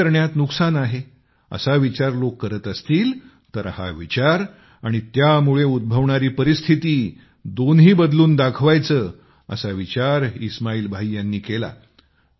शेती करणे नुकसानाचे आहे असा विचार लोक करत असतील तर हा विचार आणि त्यामुळे उद्भवणारी परिस्थिती दोन्ही बदलून दाखवायची असा विचार इस्माईल भाई यांनी केला